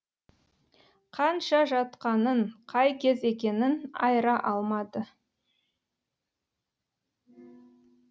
қанша жатқанын қай кез екенін айыра алмады